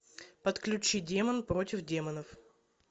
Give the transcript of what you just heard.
подключи демон против демонов